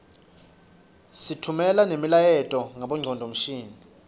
sitfumela nemiyaleto ngabongcondvomshini